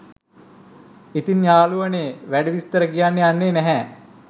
ඉතින් යාළුවනේ වැඩි විස්තර කියන්න යන්නෙ නැහැ.